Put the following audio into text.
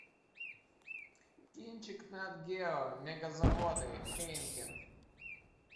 кинчик нат гео мега заводы хайнекен